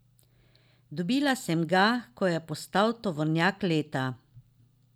Dobila sem ga, ko je postal tovornjak leta.